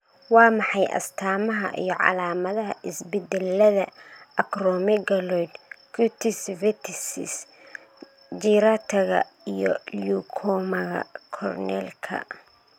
Waa maxay astamaha iyo calaamadaha isbeddellada Acromegaloid, cutis verticis gyrataga iyo leukomaga cornealka?